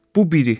Bu biri.